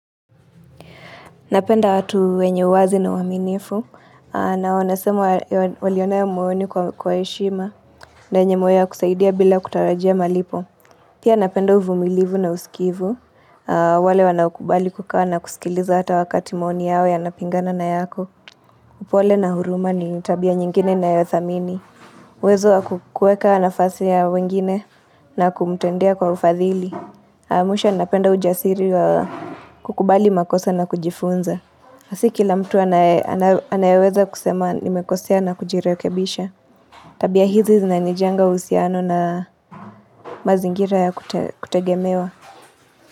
Napenda watu wenye uwazi na uaminifu. Na wanesema walionea moyoni kwa heshima. Na wenye moyo wa kusaidia bila kutarajia malipo. Pia napenda uvumilivu na usikivu. Wale wanaokubali kukaa na kusikiliza hata wakati maoni yao yanapingana na yako. Upole na huruma ni tabia nyingine ninayothamini. Wezo wa kukueka nafasi ya wengine na kumtendea kwa ufadhili. Mwisho napenda ujasiri wa kukubali makosa na kujifunza. Na si kila mtu anayeweza kusema nimekosea na kujirekebisha Tabia hizi zinanijenga uhusiano na mazingira ya kutegemewa.